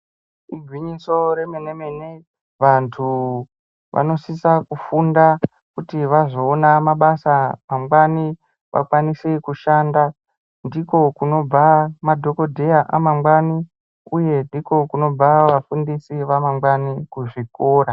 Igwinyiso remene mene vanhu vanosisa kufunda kuti vazoona mabasa mangwani vakwanise kushanda. Ndiko kunobva madhokodheya amangwani uye ndiko kunobva vafundisi vamangwani kuzvikora.